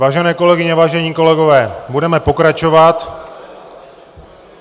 Vážené kolegyně, vážení kolegové, budeme pokračovat.